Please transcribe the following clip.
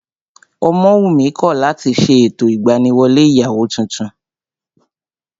Ọmọwùnmí kọ̀ láti ṣe ètò ìgbaniwọlé ìyàwó tuntun